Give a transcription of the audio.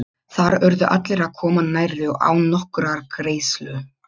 Þar urðu allir að koma nærri og án nokkurrar greiðslu.